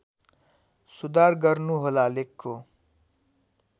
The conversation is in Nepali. सुधार गर्नुहोला लेखको